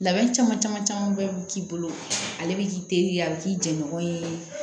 Labɛn caman caman caman be k'i bolo ale bi k'i teri ye a bɛ k'i jɛɲɔgɔn ye